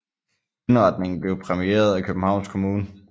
Indretningen blev præmieret af Københavns Kommune